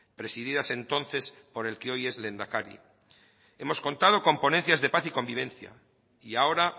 presididas entonces por el que hoy es lehendakari hemos contado con ponencias de paz y convivencia y ahora